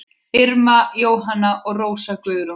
Irma Jóhanna og Rósa Guðrún.